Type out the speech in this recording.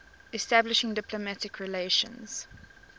establishing diplomatic relations